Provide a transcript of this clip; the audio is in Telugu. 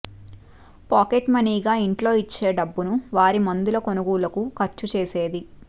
పాకెట్మనీగా ఇంట్లో ఇచ్చే డబ్బును వారి మందుల కొనుగోలుకు ఖర్చు చే సేది